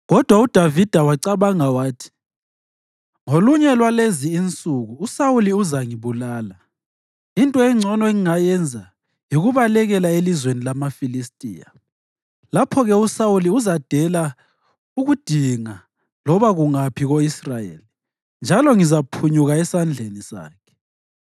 Kodwa uDavida wacabanga wathi, “Ngolunye lwalezi insuku uSawuli uzangibulala. Into engcono engingayenza yikubalekela elizweni lamaFilistiya. Lapho-ke uSawuli uzadela ukungidinga loba kungaphi ko-Israyeli, njalo ngizaphunyuka esandleni sakhe.”